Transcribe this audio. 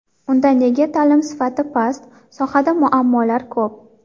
Unda nega ta’lim sifati past, sohada muammolar ko‘p?.